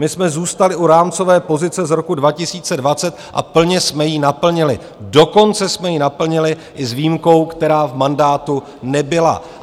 My jsme zůstali u rámcové pozice z roku 2020 a plně jsme ji naplnili, dokonce jsme ji naplnili i s výjimkou, která v mandátu nebyla.